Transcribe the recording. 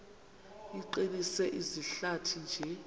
iqinise izihlathi nje